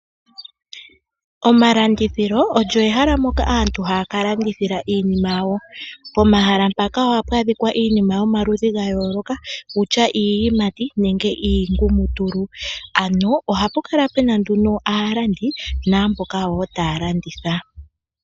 Omalandithilo olyo ehala moka aantu haya ka landithila iinima yawo. Pehala mpaka ohapu adhika iinima yomaludhi gayolokathana kutya iiyimati kutya iingumutulu. Ano ohapu kala wo pena aalandi naamboka woo taya landitha.